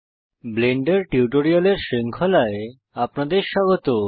Blender টিউটোরিয়ালের শৃঙ্খলায় আপনাদের স্বাগত